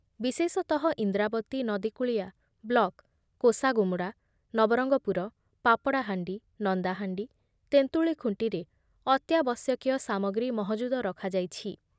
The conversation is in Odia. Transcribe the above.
ବିଶେଷତଃ ଇନ୍ଦ୍ରାବତୀ ନଦୀକୂଳିଆ ବ୍ଲକ କୋଷାଗୁମୁଡ଼ା, ନବରଙ୍ଗପୁର, ପାପଡ଼ାହାଣ୍ଡି, ନନ୍ଦାହାଣ୍ଡି, ତେନ୍ତୁଳିଖୁଣ୍ଟିରେ ଅତ୍ୟାବଶ୍ୟକୀୟ ସାମଗ୍ରୀ ମହଜୁଦ ରଖାଯାଇଛି ।